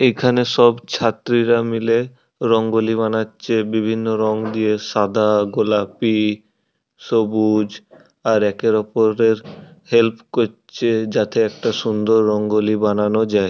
এখানে সব ছাত্রীরা মিলে রঙ্গলি বানাচ্ছে বিভিন্ন রং দিয়ে। সাদাগোলাপি সবুজ। আর একে ওপরের হেল্প করছে যাতে একটা সুন্দর রঙ্গলি বানানো যায়।